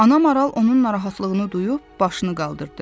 Ana Maral onun narahatlığını duyub başını qaldırdı.